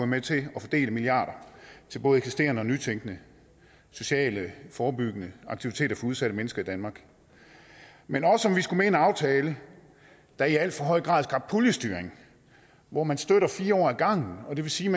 med til at fordele milliarder til både eksisterende og nytænkende sociale forebyggende aktiviteter for udsatte mennesker i danmark men også om vi skulle med i en aftale der i al for høj grad skabte puljestyring hvor man støtter fire år ad gangen og det vil sige